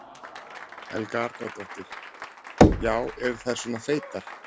Helga Arnardóttir: Já, eru þær svona feitar?